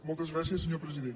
moltes gràcies senyor president